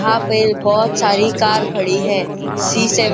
वहाँ पे बहुत सारी कार खडी है सी सेवेन --